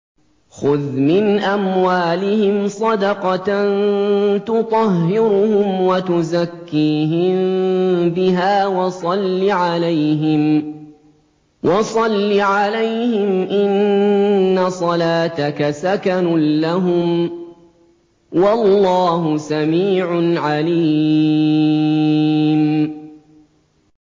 خُذْ مِنْ أَمْوَالِهِمْ صَدَقَةً تُطَهِّرُهُمْ وَتُزَكِّيهِم بِهَا وَصَلِّ عَلَيْهِمْ ۖ إِنَّ صَلَاتَكَ سَكَنٌ لَّهُمْ ۗ وَاللَّهُ سَمِيعٌ عَلِيمٌ